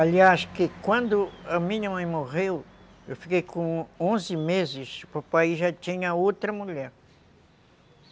Aliás, quando a minha mãe morreu, eu fiquei com onze meses, o papai já tinha outra mulher.